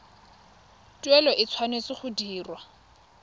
tuelo e tshwanetse go dirwa